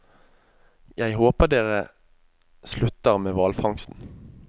Jeg håper dere slutter med hvalfangsten.